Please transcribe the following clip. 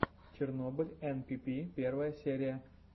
чернобыль энпипи первая серия